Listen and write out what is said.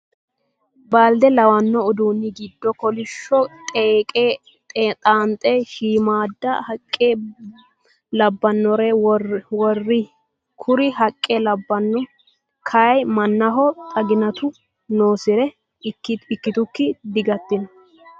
Baalde lawanno uduunni giddo kolisho xeeqe xaanxe shiimmada haqqe labbanore worroyi. Kuri haqqe labbano kayii mannaho xaginatu noonsare ikkitukki digattino.